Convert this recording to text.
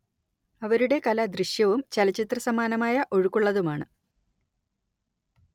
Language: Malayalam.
അവരുടെ കല ദൃശ്യവും ചലച്ചിത്രസമാനമായ ഒഴുക്കുള്ളതുമാണ്‌